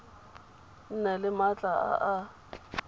nne le maatla a a